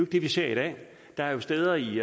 det vi ser i dag der er jo steder i